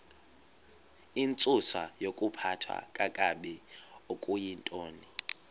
intsusayokuphathwa kakabi okuyintoni